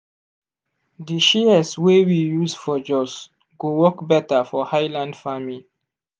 di shears wey we use for jos go work better for highland farming